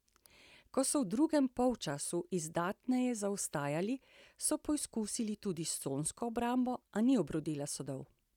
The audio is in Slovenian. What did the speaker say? Ko so v drugem polčasu izdatneje zaostajali, so poizkusili tudi s consko obrambo, a ni obrodila sadov.